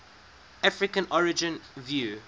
african origin view